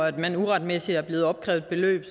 at man uretmæssigt er blevet opkrævet et beløb